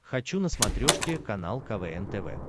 хочу на смотрешке канал квн тв